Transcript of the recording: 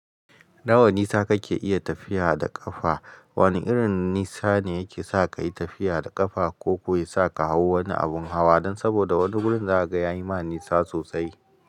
Nawa nisa kake iya tafiya da ƙafa? Wani irin nisa ne yake sa ka yi tafiya da ƙafa ko ko ya sa ka hau wani abin hawa don saboda wani wurin zaga ya yi ma nisa sosai?